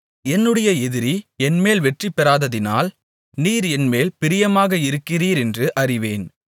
என்னுடைய எதிரி என்மேல் வெற்றி பெறாததினால் நீர் என்மேல் பிரியமாக இருக்கிறீரென்று அறிவேன்